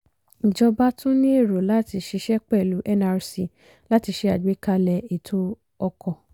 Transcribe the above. ìjọba tún ní èrò láti ṣiṣẹ́ pẹ̀lú nrc láti ṣé àgbékalẹ̀ ètò ọkọ̀.